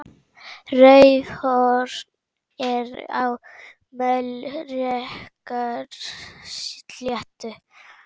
Raufarhöfn er á Melrakkasléttu.